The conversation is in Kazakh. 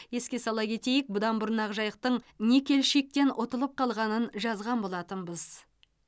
еске сала кетейік бұдан бұрын ақжайықтың никельщиктен ұтылып қалғанын жазған болатынбыз